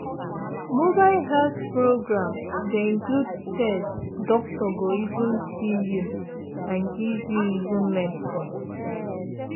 mobile health program dey include test doctor go even see you and give you even medicine.